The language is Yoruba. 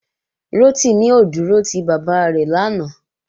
Rotimi ò dúró ti bàbá rẹ̀ lánàá